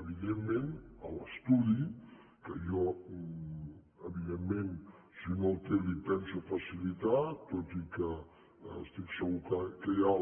evidentment l’estudi que jo evidentment si no el té l’hi penso facilitar tot i que estic segur que ja hi ha